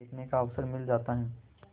देखने का अवसर मिल जाता है